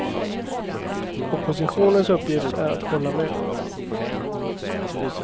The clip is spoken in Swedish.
Oppositionens uppgift är att hålla med.